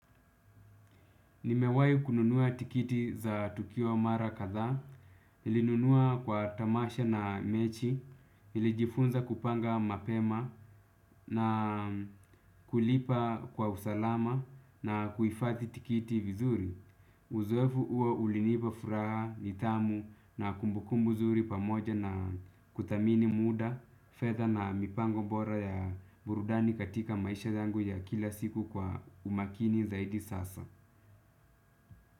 Nimewai kununua tikiti za Tukio Mara Kadhaa, nilinunua kwa tamasha na mechi, nilijifunza kupanga mapema na kulipa kwa usalama na kuifadhi tikiti vizuri. Uzoefu huo ulinipa furaha, nidhamu na kumbukumbu zuri pamoja na kudhamini muda, fedha na mipango bora ya burudani katika maisha yangu ya kila siku, kwa umakini zaidi sasa.